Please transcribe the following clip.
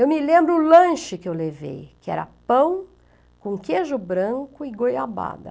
Eu me lembro o lanche que eu levei, que era pão com queijo branco e goiabada.